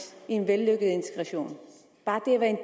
i en vellykket integration bare